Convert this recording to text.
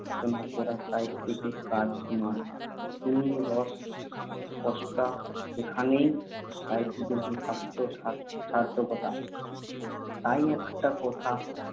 আলোচনা করা সাহিত্যিকের কাজ নয় - তিনি রস স্রষ্টা। এইখানেই সাহিত্যিকের যথার্থ সার্থকতা। তাই একটা কথা